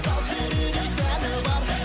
сал серідей сәні бар